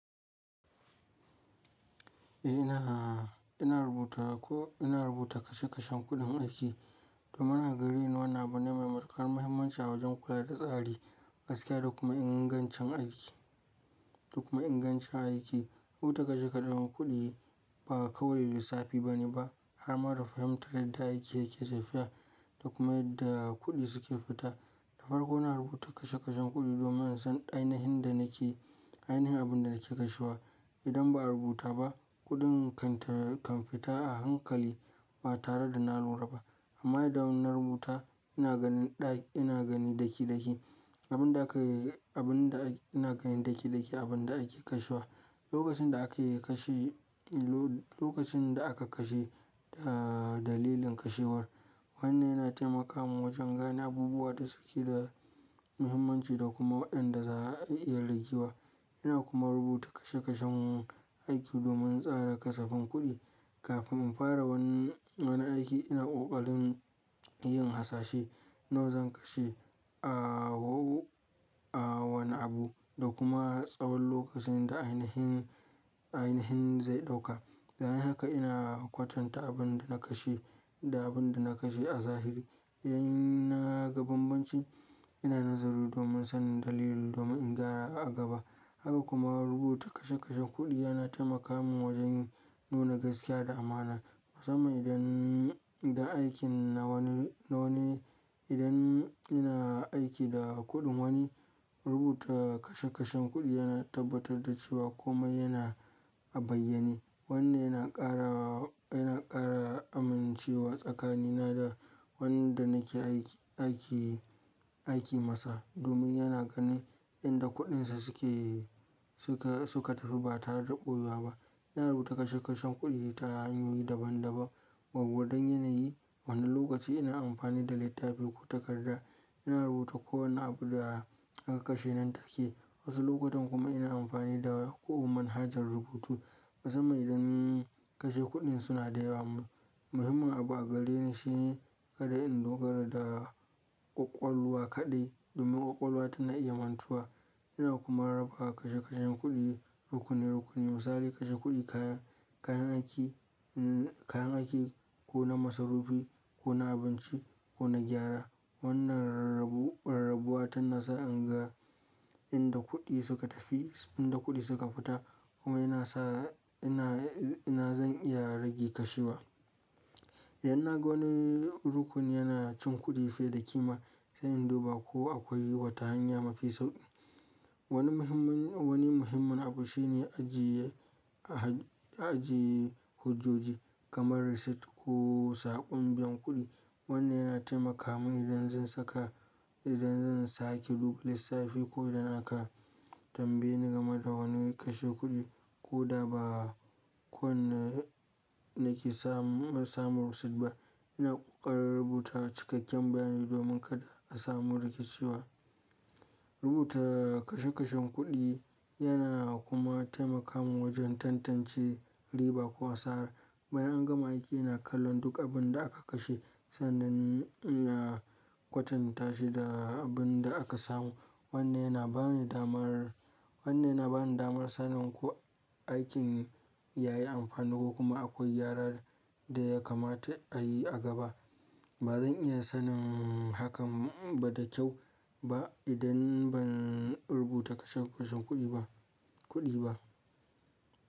Eh ina, ina rubuta ko ina rubuta kashe kashen kuɗin aiki domin a gareni wani abu ne mai matuƙar mahimmanci a wajen kula da tsari, gaskiya da kuma ingancin aiki, da kuma ingancin aiki. Rubuta kashe kashen kuɗi ba kawai lissafi bane ba, har ma da fahimtar yadda aiki yake tafiya da kuma yadda kuɗi suke fita. Da farko ina rubuta kashe kashen kuɗi domin in san ainihin da nake, ainihin abin da nake kashewa. Idan ba a rubuta ba, kuɗin kan ta, kan fita a hankali ba tare da nalura ba. Amma idan ina rubuta ina ganin ɗa, ina gani daki daki abin da aka yi, abin da ina gani daki daki abin da ake kashewa, lokacin da aka yi kashi, lo-lokacin da aka kashe, ahhh, dalilin kashewar. Wanne yana taimaka min wajen gane abubuwa da suke da muhimmanci da kuma waɗanda za a iya ragewa. Ina kuma rubuta kashe kashen aiki domin tsara kasafin kuɗi. Kafin in fara wani, wani aiki ina ƙoƙarin yin hasashe nawa zan kashe a wau, a wane abu da kuma tsawon lokacin da ainihin, ainihin zai ɗauka. Da haka ina kwatanta abin da na kashe da abin da na kashe a zahiri. Idan naga bambanci ina nazari domin sanin dalili domin in gyara a gaba. Haka kuma rubuta kashe kashen kuɗi yana taimaka min wajen nuna gaskiya da amana. Musamman idan, idan aikin na wani, na wani, idan ina aiki da kuɗin wani, rubuta kashe kashen kuɗi yana tabbatar da cewa kome yana a bayyane. Wanne yana ƙara, yana ƙara amincewa tsakanina da wanda nake aiki, aiki, aiki masa. Domin yana ganin inda kuɗinsa suke, suka, suka tafi ba tare da ɓoye ba. Ina rubuta kashe kashen kuɗi ta hanyoyi daban daban. Waƙwa don yanayi. Wani lokaci ina amfani da littafi ko takarda. Ina rubuta kowane abu da aka kashe nan take. Wasu lokutan kuma ina amfani da ƙo'o manhajar rubutu. Musamman idan kashe kuɗin suna da yawa. Muhimmin abu a gareni shine kada in dogara da ƙwaƙwalwa kaɗai domin ƙwaƙwalwa tana iya mantuwa. Ina kuma raba kashe kashen kuɗi rukuni rukuni. Misali kashe kuɗi, kaya, kayan aiki, nnn, kayan aiki ko na masarufi ko na abinci ko na gyara. Wannan rarrabu, rarrabuwa tana sa in ga inda kuɗi suka tafi, inda kuɗi suka fita kuma yana sa ina, ina zan iya rage kashewa. Idan naga wani rukuni yana cin kuɗi fiye da kima zan duba ko akwai wata hanya mafi sauƙi. Wani muhimmin, wani muhimmin abu shine ajiye, ajiye hujoji kamar risit ko saƙon biyan kuɗi. Wanne yana taimaka mini idan zan saka, idan zan sake duba lissafi ko idan aka tambaye ni game da wani kashe kuɗi ko da ba kowane nake samu, samun risit ba. Ina ƙoƙarin rubuta cikakken bayani domin kada a samu rikiciwa. Rubuta kashe kashen kuɗi yana kuma taimaka min wajen tantance riba ko wasa. Bayan an gama aiki ina kallon duk abin da aka kashe sannan ya kwatanta shi da abin da aka samu. Wanne yana bani damar, wanne yana bani damar sanin ko aikin ya yi amfani ko kuma akwai gyara da ya kamata a yi a gaba. Ba zan iya sanin hakan ba da kyau ba idan ban rubuta kashe kashen kuɗi ba, kuɗi ba.